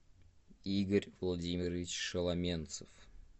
игорь владимирович шеломенцев